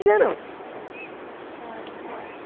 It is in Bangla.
কার